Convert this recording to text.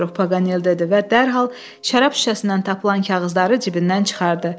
Paqanel dedi və dərhal şərab şüşəsindən tapılan kağızları cibindən çıxartdı.